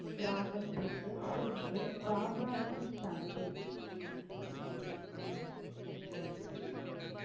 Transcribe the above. கிராமத்திற்கு சென்று பாபாஜி தனது